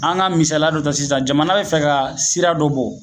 An ga misaliya dɔ ta sisan jamana be fɛ ka sira dɔ bɔ